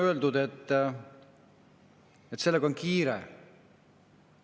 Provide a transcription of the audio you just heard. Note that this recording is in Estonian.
on öeldud, et on kiire.